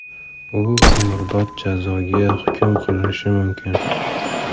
U umrbod jazoga hukm qilinishi mumkin.